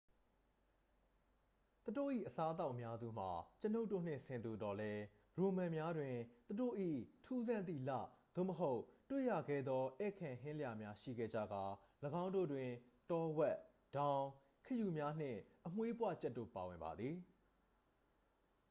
သူတို့၏ အစားအသောက်အများစုမှာ ကျွန်ုပ်တို့နှင့် ဆင်တူသော်လည်း ရိုမန်များတွင် သူတို့၏ ထူးဆန်းသည့်လသို့မဟုတ် တွေ့ရခဲသော ဧည့်ခံဟင်းလျာများ ရှိခဲ့ကြကာ ၎င်းတို့တွင် တောဝက် ဒေါင်း ခရုများနှင့် အမွေးပွကြက်တို့ ပါဝင်ပါသည်